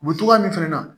O be togoya min fɛnɛ na